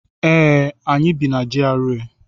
Ee, anyị bi na GRA.